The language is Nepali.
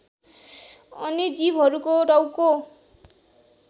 अन्य जीवहरूको टाउको